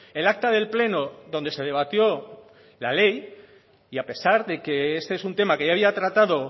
el acta del pleno donde se debatió la ley y a pesar de que este es un tema que ya había tratado